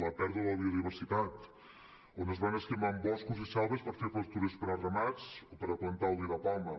la pèrdua de la biodiversitat on es van esquilmant boscos i selves per fer pastures per a ramats o per a plantar oli de palma